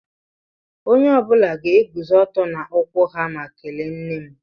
Onye ọbula ga-eguzó ọtọ n'ụkwụ ha ma kèléé nne m